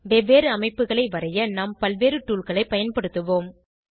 வெவ்வேறு அமைப்புகளை வரைய நாம் பல்வேறு toolகளை பயன்படுத்துவோம்